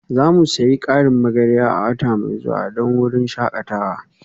Za mu sayi ƙarin magarya a wata mai zuwa don wurin shakatawa